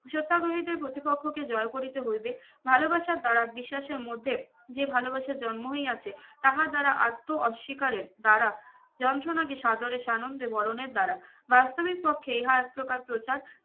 সত্যাগ্রহীদের প্রতিপক্ষকে জয় করিতে হইবে ভালোবাসার দারা বিশ্বাসের মধ্যে যে ভালোবাসা জন্ম হইয়াছে তাহার দারা আত্ম অস্বীকারের দারা যন্ত্রণাকে সাদরে সানন্দে বোরনের দারা বাস্তবিক পক্ষে ইহা এক প্রকার প্রচার